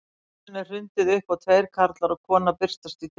Hurðinni er hrundið upp og tveir karlar og kona birtast í dyrunum.